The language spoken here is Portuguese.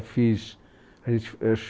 Fiz, fiz é